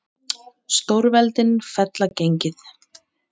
Stórveldin fella gengið